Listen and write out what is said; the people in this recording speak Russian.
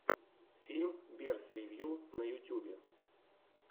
фильм берс ревью на ютьюбе